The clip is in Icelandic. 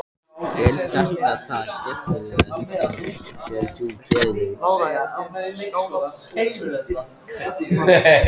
Hödd: Er þetta það skemmtilegasta sem þú gerir?